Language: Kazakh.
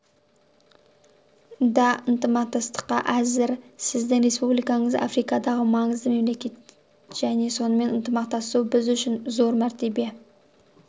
да ынтымақтастыққа әзір сіздің республикаңыз африкадағы маңызды мемлекет және онымен ынтымақтасу біз үшін зор мәртебе